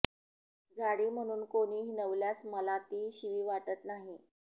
जाडी म्हणून कोणी हिणवल्यास मला ती शिवी वाटत नाही